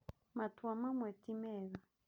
Matua mamwe ti mega